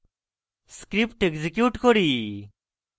script execute করি